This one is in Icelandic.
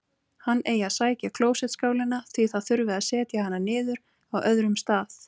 Hann eigi að sækja klósettskálina, því það þurfi að setja hana niður á öðrum stað.